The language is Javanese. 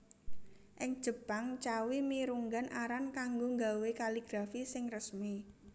Ing Jepang cawi mirunggan aran kanggo nggawé kaligrafi sing resmi